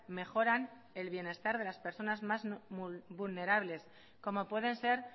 mejoran el bienestar de las personas más vulnerables como pueden ser